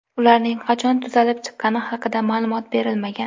Ularning qachon tuzalib chiqqani haqida ma’lumot berilmagan.